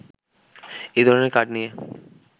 এ ধরণের কার্ড নিয়ে